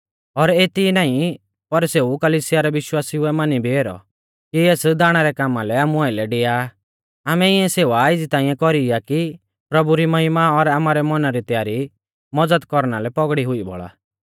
और एती ई नाईं पर सेऊ कलिसिया रै विश्वासिउऐ मानी भी ऐरौ कि एस दाणा रै कामा लै आमु आइलै डिया आमै इऐं सेवा एज़ी ताइंऐ कौरी आ कि प्रभु री महिमा और आमारै मौना री तैयारी मज़द कौरना लै पौगड़ी हुई बौल़ा